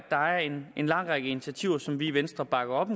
der er en lang række initiativer som vi i venstre bakker op